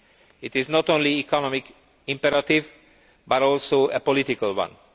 This is not only an economic imperative but also a political one.